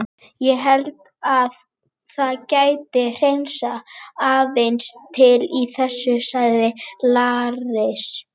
Ég held að það geti hreinsað aðeins til í þessu, sagði Lars.